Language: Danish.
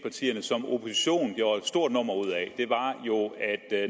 stort nummer ud af